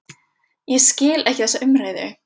Ég skil ekki þessa umræðu.